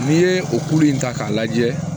N'i ye o kuru in ta k'a lajɛ